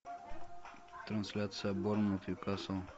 трансляция борнмут ньюкасл